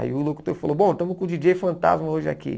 Aí o locutor falou, bom, estamos com o djíi djêi Fantasma hoje aqui.